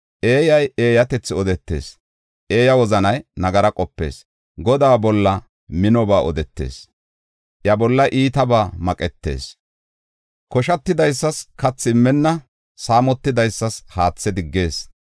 Eeyay eeyatethi odetees; iya wozanay nagara qopees. Godaa bolla minoba odetees; iya bolla iitabaa maqetees: koshatidaysas kathi immenna; saamotidaysa haathe diggees.